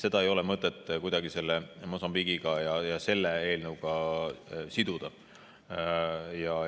Nii et ei ole mõtet seda Mosambiigi selle eelnõuga siduda.